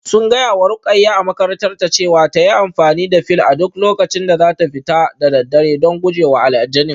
Sun gaya wa Ruqayyah a makarantarta cewa ta yi amfani da fil a duk lokacin da za ta fita da daddare don guje wa aljanin